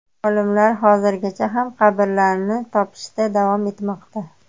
Olimlar hozirgacha ham qabrlarni topishda davom etmoqda.